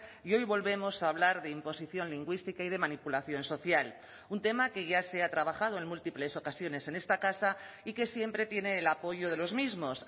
y hoy volvemos a hablar de imposición lingüística y de manipulación social un tema que ya se ha trabajado en múltiples ocasiones en esta casa y que siempre tiene el apoyo de los mismos